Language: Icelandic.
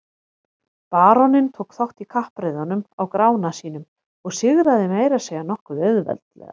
Baróninn tók þátt í kappreiðunum á Grána sínum og sigraði meira að segja nokkuð auðveldlega.